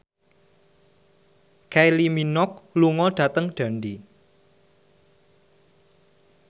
Kylie Minogue lunga dhateng Dundee